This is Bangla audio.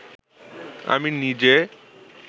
আমি নিজে